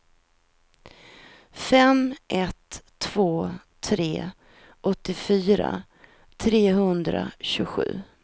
fem ett två tre åttiofyra trehundratjugosju